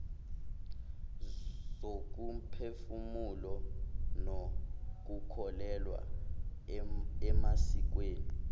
zokomphefumulo nokukholelwa emasikweni